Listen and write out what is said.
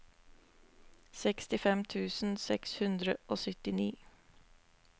sekstifem tusen seks hundre og syttini